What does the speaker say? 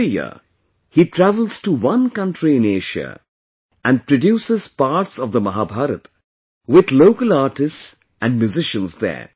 Every year, he travels to one country in Asia and produces parts of the Mahabharata with local artists and musicians there